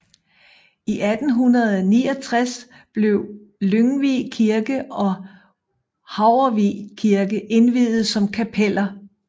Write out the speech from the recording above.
I 1869 blev Lyngvig Kirke og Haurvig Kirke indviet som kapeller